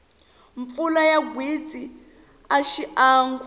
mpfula ya gwitsi a xiangu